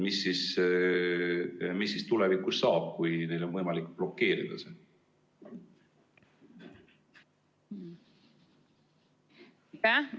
Mis siis tulevikus saab, kui neil on võimalik seda blokeerida?